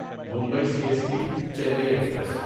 Mumbai C S T Chennai express